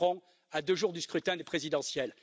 Macron à deux jours du scrutin de la présidentielle.